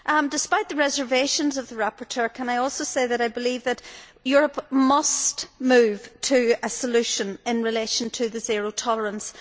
Despite the reservations of the rapporteur, can I also say that I believe that Europe must move to a solution in relation to zero tolerance.